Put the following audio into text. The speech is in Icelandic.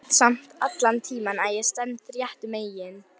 Veit samt allan tímann að ég stend réttu megin.